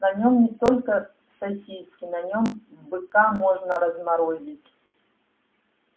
на нем не только сосиски на нем быка можно разморозить